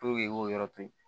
i k'o yɔrɔ to yen